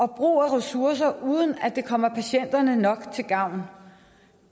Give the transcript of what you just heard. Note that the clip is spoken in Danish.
bruges ressourcer uden at det kommer patienterne nok til gavn